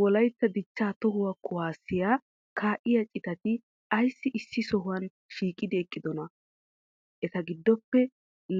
wolaytta dichcha toho kuwassiya ka7iya citatti aysi issi sohuwa shiiqidi eqqidona? etaa giddope